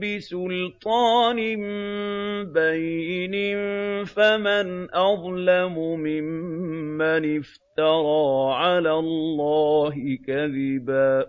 بِسُلْطَانٍ بَيِّنٍ ۖ فَمَنْ أَظْلَمُ مِمَّنِ افْتَرَىٰ عَلَى اللَّهِ كَذِبًا